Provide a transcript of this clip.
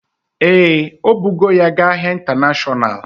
Ee, o bugo ya ga ahịa intanashonal